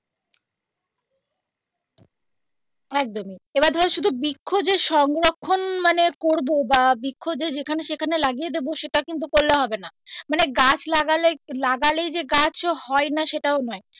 একদমই এবার ধরো শুধু বৃক্ষ যে সংরক্ষণ মানে করবো বা বৃক্ষ যে যেখানে সেখানে লাগিয়ে দেব সেটা কিন্তু করলে হবে না মানে গাছ লাগালে লাগালেই যে গাছ হয় না সেটাও নয়.